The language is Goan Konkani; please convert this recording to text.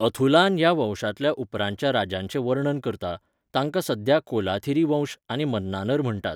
अथुलान ह्या वंशांतल्या उपरांतच्या राजांचें वर्णन करता, तांकां सध्या कोलाथिरी वंश आनी मन्नानर म्हणटात.